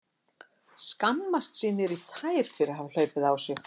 Skammast sín niður í tær fyrir að hafa hlaupið á sig.